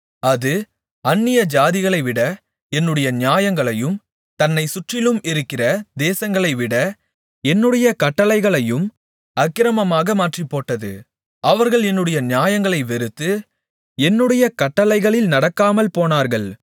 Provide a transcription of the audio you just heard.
அது அந்நியஜாதிகளைவிட என்னுடைய நியாயங்களையும் தன்னைச் சுற்றிலும் இருக்கிற தேசங்களைவிட என்னுடைய கட்டளைகளையும் அக்கிரமமாக மாற்றிப்போட்டது அவர்கள் என்னுடைய நியாயங்களை வெறுத்து என்னுடைய கட்டளைகளில் நடக்காமல்போனார்கள்